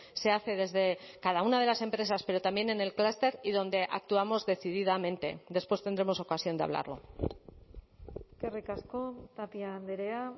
se hace desde cada una de las empresas pero también en el clúster y donde actuamos decididamente después tendremos ocasión de hablarlo eskerrik asko tapia andrea